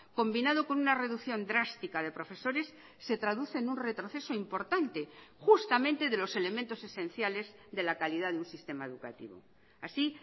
combinado con una reducción drástica de profesores se traduce en un retroceso importante justamente de los elementos esenciales de la calidad de un sistema educativo así